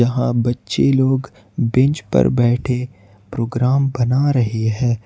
यहां बच्चे लोग बेंच पर बैठे प्रोग्राम बना रहे हैं।